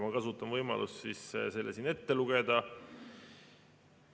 Ma kasutan võimalust see siin ette lugeda.